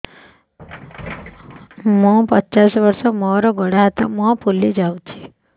ମୁ ପଚାଶ ବର୍ଷ ମୋର ଗୋଡ ହାତ ମୁହଁ ଫୁଲି ଯାଉଛି